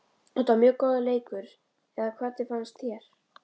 Þetta var mjög góður leikur eða hvernig fannst þér?